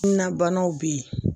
Kunnabanaw be yen